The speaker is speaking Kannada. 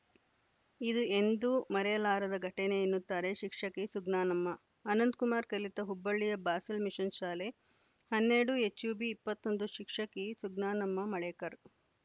ಇದು ಎಂದೂ ಮರೆಯಲಾರದ ಘಟನೆ ಎನ್ನುತ್ತಾರೆ ಶಿಕ್ಷಕಿ ಸುಜ್ಞಾನಮ್ಮ ಅನಂತ್‌ ಕುಮಾರ್‌ ಕಲಿತ ಹುಬ್ಬಳ್ಳಿಯ ಬಾಸೆಲ್‌ ಮಿಶನ್‌ ಶಾಲೆ ಹನ್ನೆರಡು ಎಚ್‌ಯುಬಿ ಇಪ್ಪತ್ತ್ ಒಂದು ಶಿಕ್ಷಕಿ ಸುಜ್ಞಾನಮ್ಮ ಮಳೇಕರ್‌